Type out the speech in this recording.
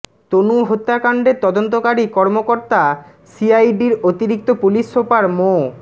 তনু হত্যাকাণ্ডের তদন্তকারী কর্মকর্তা সিআইডির অতিরিক্ত পুলিশ সুপার মো